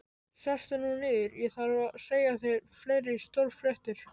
Sestu nú niður, ég þarf að segja þér fleiri stórfréttir